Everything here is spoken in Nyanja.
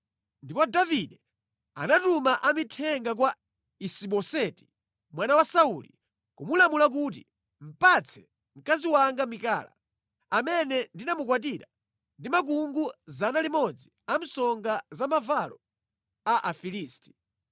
Ndipo Davide anatuma amithenga kwa Isi-Boseti mwana wa Sauli, kumulamula kuti, “Patse mkazi wanga Mikala, amene ndinamukwatira ndi makungu 100 a msonga za mavalo a Afilisti.”